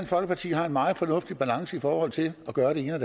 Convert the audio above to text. folkeparti har en meget fornuftig balance i forhold til at gøre det ene og